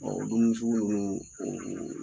Ɔ dumuni sugu ninnu